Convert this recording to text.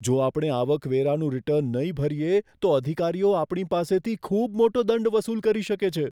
જો આપણે આવકવેરાનું રીટર્ન નહીં ભરીએ, તો અધિકારીઓ આપણી પાસેથી ખૂબ મોટો દંડ વસૂલ કરી શકે છે.